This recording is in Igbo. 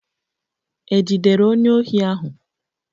E jidere onye ohi ahụ?